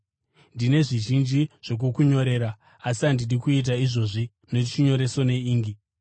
Ndine zvizhinji zvokukunyorera, asi handidi kuita izvozvi nechinyoreso neingi.